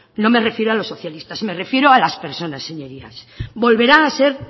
no me refiero a los socialistas me refiero a las personas señorías volverá a ser